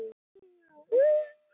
Háhyrningur konungur dýranna